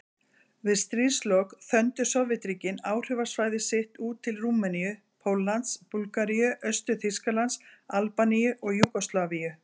Við stríðslok þöndu Sovétríkin áhrifasvæði sitt út til Rúmeníu, Póllands, Búlgaríu, Austur-Þýskalands, Albaníu og Júgóslavíu.